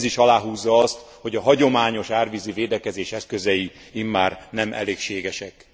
Ez is aláhúzza azt, hogy a hagyományos árvízi védekezés eszközei immár nem elégségesek.